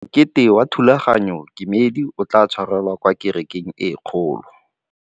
Mokete wa thulaganyôtumêdi o tla tshwarelwa kwa kerekeng e kgolo.